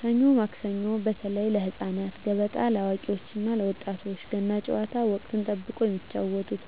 ሰኞ ማክሰኞ (በተለይ ለህፃናት)፣ገበጣ (ለአዋቂዎች እና ለወጣቶች)፣ ገና ጨዋታ (ወቅትን ጠብቆ የሚጫወቱት)